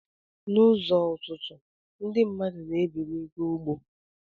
Na uzo ụtụtụ ndi mmadu na ebili ga ugbo.